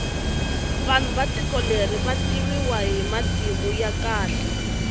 vanhu va tiko leri vativiwa hi matimu ya kahle